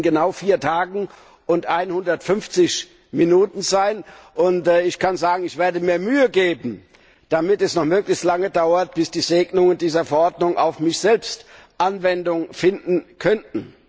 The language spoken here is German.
Das wird in genau vier Tagen und einhundertfünfzig Minuten sein, und ich kann sagen, ich werde mir Mühe geben, damit es noch möglichst lange dauert, bis die Segnungen dieser Verordnungen auf mich selbst Anwendung finden können.